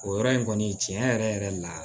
O yɔrɔ in kɔni tiɲɛ yɛrɛ yɛrɛ la